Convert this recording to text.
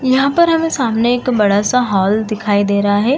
यहां पर हमें सामने एक बड़ा-सा हॉल दिखाई दे रहा है।